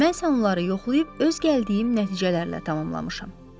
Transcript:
mən isə onları yoxlayıb öz gəldiyim nəticələrlə tamamlamışam.